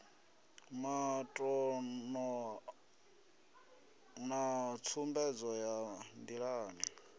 matano na tsumbedzo ya ndilani